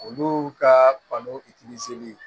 Olu ka balo